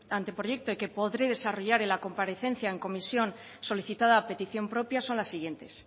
anteproyecto y que podré desarrollar en la comparecencia en comisión solicitada a petición propia son las siguientes